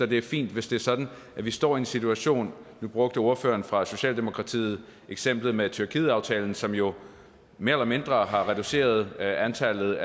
det er fint hvis det er sådan at vi står i en situation nu brugte ordføreren fra socialdemokratiet eksemplet med tyrkietaftalen som jo mere eller mindre har reduceret antallet